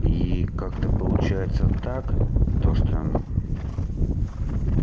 и как-то получается так то что